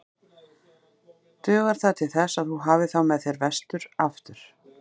Dugar það til þess að þú hafir þá með þér vestur aftur?